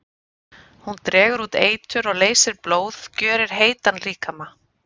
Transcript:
Hún dregur út eitur og leysir blóð, gjörir heitan líkama.